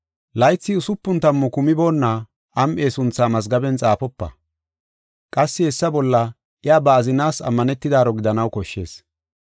Laythi usupun tammu kumiboona am7e sunthaa mazgaben xaafopa. Qassi hessa bolla iya ba azinaas ammanetidaro gidanaw koshshees.